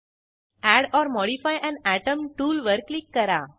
add or modify an atom टूलवर click करा